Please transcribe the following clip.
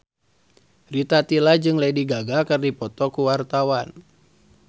Rita Tila jeung Lady Gaga keur dipoto ku wartawan